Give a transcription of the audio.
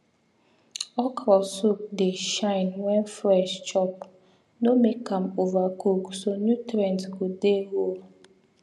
okro soup dey shine when fresh chop no make am overcook so nutrients go dey whole